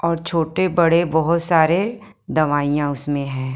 और छोटे-बड़े बहुत सारे दवाइयाँ उसमें है।